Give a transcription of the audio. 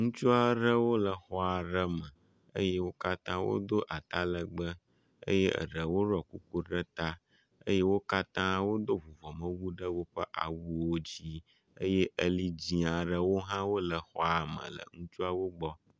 ŋutsuaɖewo le xɔ ɖe me eye wókatã wodó atalegbe eye eɖewo ɖɔ kuku ɖe ta eye wókatã wodó vuvɔme wu.ɖe woƒe awuwo dzi eye eli dzi aɖewo hã wóle xɔame le ŋutsuawo gbɔ